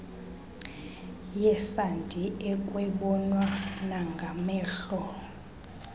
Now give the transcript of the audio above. yesandi ekwabonwa nangamehlol